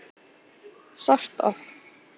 Sort of.